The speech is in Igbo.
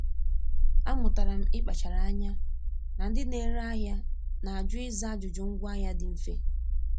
Amụtala m ịkpachara anya na ndị na-ere ahịa na-ajụ ịza ajụjụ ngwaahịa dị mfe.